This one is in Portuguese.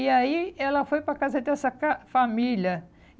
E aí ela foi para a casa dessa ca família.